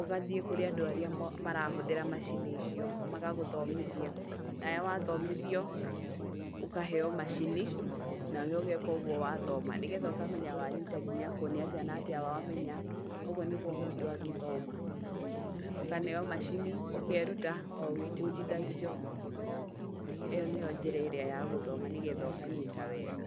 ũgathiĩ kũrĩ andũ arĩa marahũthĩra macini icio magagũthomithia, nawe wathomithio ukaheo macini, nawe ũgeka ũgũo wathoma nĩgetha ũgeka ũguo wathoma, nĩgetha ũkamenya wanyita nginya kũ, nĩ atĩa na atĩa wathoma ũguo nĩguo mũndũ angĩthoma, ũkaneo macini ũkeruta o ũgĩbundithagio ĩyo nĩyo njĩra ĩrĩa ya gũthoma nĩgetha ũkanyita wega.